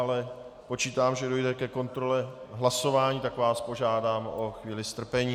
Ale počítám, že dojde ke kontrole hlasování, tak vás požádám o chvíli strpení.